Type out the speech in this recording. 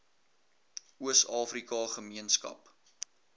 oos afrika gemeenskap